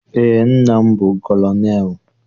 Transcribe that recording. Eé, nna m bụ kọlọnelụ.